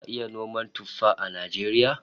Za'a iya noman tuffaha a Najeriya?